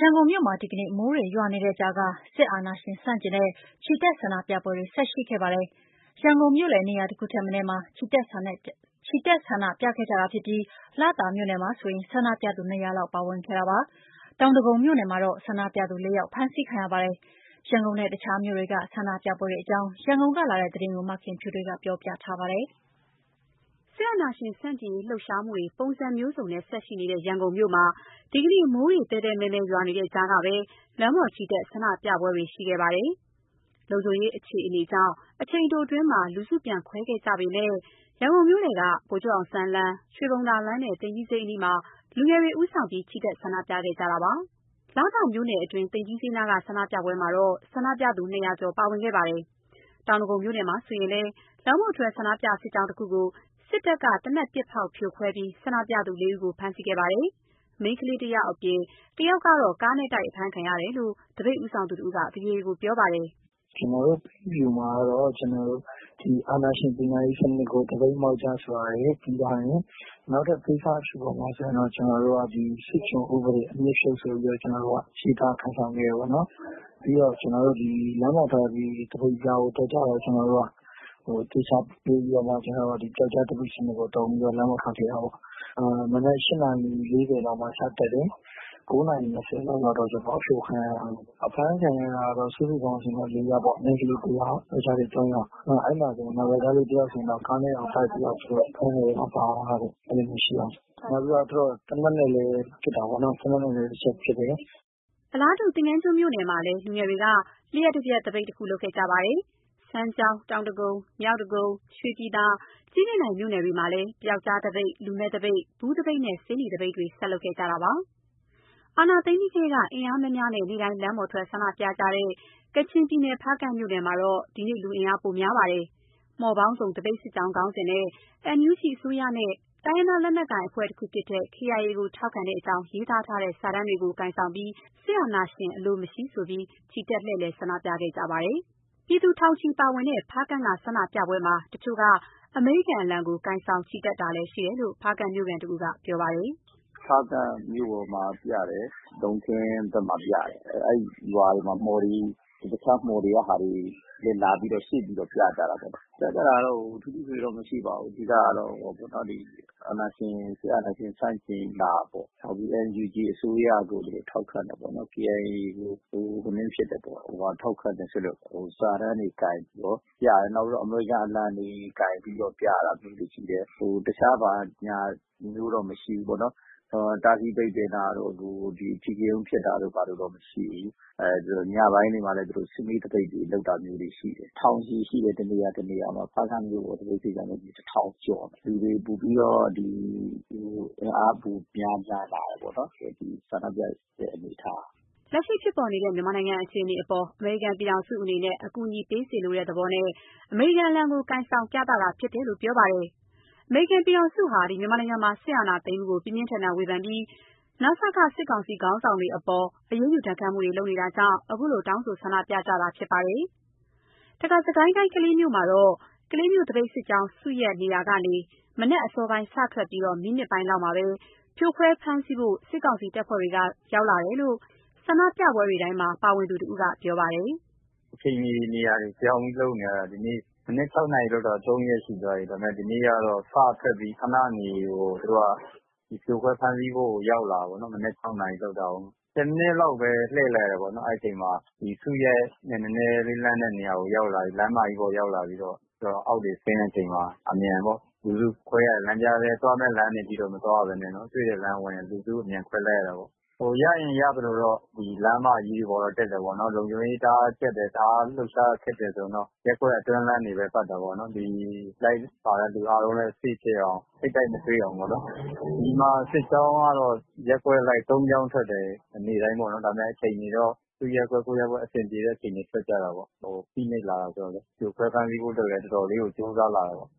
ရန်ကုန်မြို့မှာ ဒီနေ့ မိုးတွေရွာနေတဲ့ကြားက စစ်အာဏာရှင် ဆန့်ကျင်တဲ့ ချီတက်ဆန္ဒပြပွဲတွေ ဆက်ရှိခဲ့ပါတယ်။။ ရန်ကုန်မြို့လည်နေရာ တခုထက်မနည်းမှာ ချီတက်ဆန္ဒပြခဲ့ကြပြီး လသာမြို့နယ်မှာဆို ဆန္ဒပြသူ ၂၀၀ လောက် ပါဝင်ခဲ့ကြပါတယ်။ တောင်ဒဂုံမြို့နယ်မှာတော့ ဆန္ဒပြသူ ၄ ယောက် ဖမ်းဆီးခံရပါတယ်။ ရန်ကုန်နဲ့ တခြားမြို့တွေက ဆန္ဒပြပွဲတွေအကြောင်း ရန်ကုန်ကလာတဲ့သတင်းကို မခင်ဖြူထွေးက ပြောပြထားပါတယ်။ စစ်အာဏာရှင်ဆန့်ကျင်ရေးလှုပ်ရှားမှုတွေ ပုံစံမျိုးစုံနဲ့ ဆက်ရှိနေတဲ့ရန်ကုန်မြို့မှာ ဒီကနေ့ မိုးသည်းသည်းမည်းမည်း ရွာနေတဲ့ကြားကပဲ လမ်းပေါ်ချီတက် ဆန္ဒပြပွဲတွေ ရှိခဲ့တာပါ။ လုံခြုံရေးအခြေအနေကြောင့် အချိန်တိုအတွင်း လူစုပြန်ခွဲခဲ့ကြရပေမဲ့ ရန်ကုန်မြို့လည်က ဗိုလ်ချုပ်အောင်ဆန်းလမ်း၊ ရွှေဘုံသာလမ်းနဲ့ သိမ်ကြီးဈေးအနီးမှာ လူငယ်တွေဦးဆောင်တဲ့ ချီတက်ဆန္ဒပြခဲ့ကြပါတယ်။ လသာမြို့နယ်တွင်း သိမ်ကြီးဈေးနားက ဆန္ဒပြပွဲမှာဆို ဆန္ဒပြသူ ၂၀၀ ကျော် ပါဝင်ခဲ့တာပါ။ တောင်ဒဂုံမြို့နယ်မှာဆိုလည်း လမ်းပေါ်ထွက်ဆန္ဒပြစစ်ကြောင်းတခုကို စစ်တပ်က သေနတ်ပစ်ဖောက်ဖြိုခွဲပြီး ဆန္ဒပြသူ ၄ ဦးကို ဖမ်းဆီးခဲ့ပါတယ်။ မိန်းကလေး တယောက်အပြင် တယောက်က ကားနဲ့တိုက် အဖမ်းခံရတယ်လို့ သပိတ်ဦးဆောင်သူတဦးက ဗွီအိုအေကို ပြောပါတယ်။ “ကျနော်တို့ ပိတ်အဖြူမှာ အာဏာရှင်ပညာရေးစနစ်ကို သပိတ်မှောက်ကြဆိုတာရယ် ပြီးသွားရင် နောက်ထပ်ပိတ်စအဖြူပေါ်မှာ ကျနော်တို့က ဒီစစ်ကျွန်ဥပဒေ အမြစ်ဖြုတ်ဆိုပြီးတော့ ကျနော်တို့က ရေးသားကိုင်ဆောင်ခဲ့တယ်ပေါ့နော်။ ပြီးတော့ ကျနော်တို့ သပိတ်စစ်ကြောင်းကို ထွက်ကြတယ်။ ကျနော်တို့က သေချာပြင်ပြီးတော့မှ ပျောက်ကျားသပိတ်စနစ်ကိုသုံးပြီး လမ်းပေါ်ထွက်ခဲ့တာပေါ့၊ မနက် ၈ နာရီ ၄၀ လောက်မှာ စထွက်တယ် ၉ နာရီ ၂၀ လောက်မှာကျတော့ အဖြိုခံရတာပဲ၊ အဖမ်းခံရတာတော့ စုစုပေါင်း လေးယောက်ပေါ့၊ မိန်ကလေးတစ်ယောက်၊ ယောကျာ်လေး သုံးယောက်၊ နောက် အဲ့မှာဆိုရင် ယောကျာ်းတစ်ယောက်ဆိုရင် ကားနဲ့တောင်တိုက်ပြီးတော့ သူတို့ ဖမ်းတဲ့အထဲ ပါသွားတယ်၊ နောက်ပြီးတော့ သူတို့ သေနတ်နဲ့လည်း ပစ်တာပေါ့နော်၊ သေနတ်နဲ့လည်း တစ်ချက်ပစ်တယ်။” အလားတူ သင်္ဃန်းကျွန်းမြို့နယ်မှာလည်း လူငယ်တွေက လျှပ်တပျက်သပိတ်တခု လုပ်ခဲ့ကြပါတယ်။ စမ်းချောင်း၊ တောင်ဒဂုံ၊ မြောက်ဒဂုံ၊ ရွှေပြည်သာ၊ ကြည့်မြင့်တိုင်မြို့နယ်တွေမှာလည်း ပျောက်ကြားသပိတ်၊ လူမဲ့သပိတ်၊ ဘူးသပိတ်၊ ဆေးနီသပိတ်တွေ ဆက်လုပ်ကြပါတယ်။ စစ်အာဏာသိမ်းပြီးထဲက အင်အားများများနဲ့ နေ့တိုင်း လမ်းပေါ်ထွက် ဆန္ဒပြကြတဲ့ ကချင်ပြည်နယ် ဖားကန့်မြို့နယ်မှာဆို ဒီနေ့လူအင်အား ပိုများပါတယ်။ မှော်ပေါင်းစုံ သပိတ်စစ်ကြောင်းခေါင်းစဉ်နဲ့ NUG အစိုးရနဲ့ တိုင်းရင်းသားလက်နက်ကိုင်ဖြစ်တဲ့ KIA ကိုထောက်ခံကြောင်း ရေးသားထားတဲ့ စာတမ်းတွေကိုင်ဆောင်ကာ စစ်အာဏာရှင်အလိုမရှိ ချီတက်လှည့်လည် ဆန္ဒပြကြပါတယ်။ ပြည်သူ ထောင်ချီ ပါဝင်ခဲ့တဲ့ ဖားကန့်က ဆန္ဒပြပွဲမှာ တချို့က အမေရိကန်အလံကို ကိုင်ဆောင်ချီတက်တာလည်းရှိတယ်လို့ ဖားကန့်မျိုးခံတစ်ဦးက ပြောပါတယ်။ “ဖားကန့်မြို့ပေါ်မှာ ပြတယ်၊ လုံခင်းဘက်မှာ ပြတယ်၊ အဲ့ရွာတွေမှာ မှော်တွေ တခြားမှော်တွေကဟာတွေလာပြီးတော့ စုပြီးတော့ ပြကြတယ်၊ ပြကြတာတော့ ထူးထူးထွေထွေတော့ မရှိပါဘူး၊ အဓိကကတော့ အာဏာရှင် စစ်အာဏာရှင်ဆန့်ကျင်တာပေါ့၊ နောက်ပြီး NUG အစိုးရကို ထောက်ခံတယ်ပေါ့၊ KIA ကို ထောက်ခံတယ်ဆိုတဲ့ စာတမ်းတွေကိုင်ပြီးတော့ ပြတယ်၊ နောက်ပြီးတော့ အမေရိကန်အလံတွေ ကိုင်ပြီးတော့ ပြတာမျိုးတွေရှိတယ်၊ တခြားဘာညာမျိုးတော့ မရှိဘူးပေါ့။ တားဆီးပိတ်ပင်တာတို့ အဓိကရုဏ်းဖြစ်တာတို့မရှိဘူး၊ ညပိုင်းတွေမှာလည်း စုဝေးသပိတ်တွေ လုပ်တာမျိုးတွေရှိတယ်၊ ထောင်ချီရှိတယ် တစ်နေရာ တစ်နေရာမှာ၊ ဖားကန့်မြို့ပေါ်သပိတ်ကဆို တစ်ထောင်ကျော်တယ်၊ လူတွေ ပိုပြီးတော့ အင်အားပိုများပြားတယ်ပေါ့နော်ဆန္ဒပြတဲ့ အနေအထားက။” လက်ရှိဖြစ်ပေါ်နေတဲ့ မြန်မာနိုင်ငံအခြေအနေအပေါ် အမေရိကန်ပြည်ထောင်စုအနေနဲ့ အကူအညီပေးစေလိုတဲ့သဘောနဲ့ အမေရိကန်အလံကို ကိုင်ဆောင်ပြသတာဖြစ်လို့ ပြောပါတယ်။ အမေရိကန်ဟာ စစ်အာဏာသိမ်းမှုကို ပြင်းပြင်းထန်ထန် ဝေဖန်ပြီး နစက စစ်ကောင်စီခေါင်းဆောင်တွေအပေါ် အရေးယူ ဒဏ်ခတ်မှုတွေ လုပ်နေတာကြောင့် ခုလို တောင်းဆိုဆန္ဒပြကြတာဖြစ်ပါတယ်။ တခါ စစ်ကိုင်းတိုင်း ကလေးမြို့မှာတော့ ကလေးမြို့သပိတ်စစ်ကြောင်း စုရပ်နေရာကနေ မနက်အစောပိုင်း စထွက်ပြီး မိနစ်ပိုင်းလောက်မှာ ဖြိုခွဲဖမ်းဆီးဖို့ စစ်ကောင်စီတပ်ဖွဲ့ကရောက်လာတယ်လို့ ဆန္ဒပြပွဲတွေတိုင်းမှာ ပါဝင်သူတစ်ဦးက ပြောပါတယ်။ “အချိန်မီ နေရာတွေပြောင်းပြီး လုပ်နေရတယ်၊ ဒီနေ့ မနက် ၆ နာရီလုပ်တာ သုံးရက်ရှိသွားပြီ၊ ဒါပေမယ့် ဒီနေ့ကတော့ စထွက်ပြီး ခနနေ သူတို့က ဖြိုခွဲဖမ်းဆီးဖို့ ရောက်လာတယ်ပေ့ါနော်၊ မနက် ၆ နာရီလုပ်တာကို ၁၀ မိနစ်လောက်ပဲ လှည့်တယ်ပေါ့နော်၊ အဲ့ချိန်မှာ ဒီစုရပ်နဲ့ နည်းနည်းလေးလှမ်းတဲ့နေရာကို ရောက်လာပြီး လမ်းမတွေပေါ်ရောက်လာပြီးတော့ သူတို့အောက်ဆင်းတဲ့အချိန်မှာ အမြန်ပေ့ါ လူစုခွဲရတယ်၊ သွားမယ့်လမ်းတွေအထိတော့ မသွားရဘဲနဲ့နော်၊ တွေ့တဲ့လမ်းဝင် လူစုအမြန်ခွဲလိုက်ရတာပေါ့၊ ဟိုရရင်ရသလိုတော့ လမ်းမကြီးပေါ်တက်တယ်ပေါ့နော်၊ လုံခြုံရေးတအားကြပ်တယ်၊ တအားလှုပ်ရှားရခက်တယ်ဆိုရင်တော့ ရပ်ကွက်အတွင်းလမ်းတွေပဲ ပတ်တာပေါ့နော်၊ ဒီလိုက်ပါလာတဲ့ လူအားလုံးလည်း safe ဖြစ်အောင် ထိပ်တိုက်မတွေ့အောင်ပေါ့နော်။ ဒီမှာ စစ်ကြောင်းကတော့ရပ်ကွက်အလိုက် သုံးကြောင်းထွက်တယ် နေ့တိုင်းပေါ့နော် ဒါပေမယ့် အချိန်တွေတော့ သူ့ရပ်ကွက် ကိုယ့်ရပ်ကွက် အဆင်ပြေတဲ့အချိန် ထွက်ကြတာပေ့ါ၊ အို… ဖိနှိပ်လာတယ်ဆိုတော့လည်း ဖြိုခွဲဖမ်းဆီးဖို့အတွက်လည်း တော်တော်လေးကိုကြိုးစားလာတယ်ပေါ့။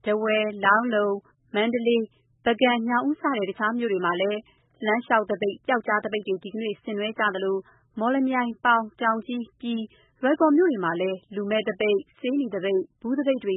” ထားဝယ်၊ လောင်းလုံ၊ မန္တလေး၊ ပုဂံ၊ ညောင်ဦး စတဲ့ တခြားမြို့တွေမှာလည်း လမ်းလျှောက်သပိတ်၊ ပျောက်ကြားသပိတ်တွေ ဆင်နွှဲကြသလို မော်လမြိုင်၊ ပေါင်၊ တောင်ကြီး၊ ပြည်၊ လွိုင်ကော်မြို့တွေမှာလည်း လူမဲ့သပိတ်၊ ဆေးနီသပိတ်၊ ဘူးသပိတ်တွေ